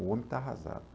O homem está arrasado.